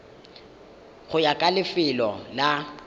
go ya ka lefelo la